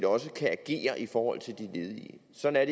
også kan agere i forhold til de ledige sådan